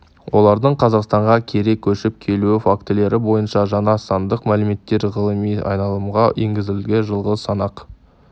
олардың қазақстанға кері көшіп келу фактілері бойынша жаңа сандық мәліметтер ғылыми айналымға енгізілді жылғы санақ